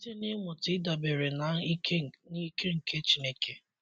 Site n'ịmụta ịdabere na ike na ike nke Chineke.